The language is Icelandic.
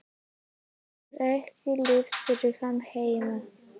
Það er ekki líft fyrir hann heima.